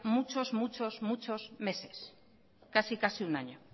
muchos muchos muchos meses casi casi un año